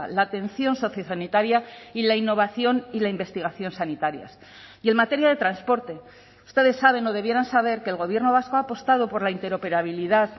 la atención sociosanitaria y la innovación y la investigación sanitarias y en materia de transporte ustedes saben o debieran saber que el gobierno vasco ha apostado por la interoperabilidad